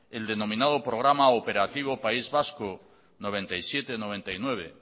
el denominado programa operativo país vasco mil novecientos noventa y siete mil novecientos noventa y nueve